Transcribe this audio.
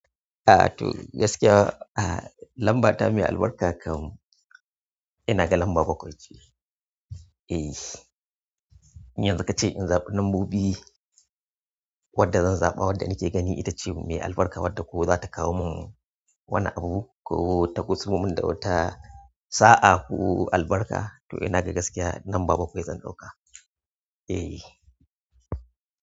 A to gaskiya lambata mai albarka kam. Ina ga lamba bakwai ce. Eh, yanzu ka ce in zaɓi lambobi wadda zan zaɓa wadda nake gani ita ce mai albarka wadda ko za ta kawo mun wani abu ko ta kusul mun da wata sa'a ko albarka to ina ga gaskiya lamba bakwai zan ɗauka. Eh.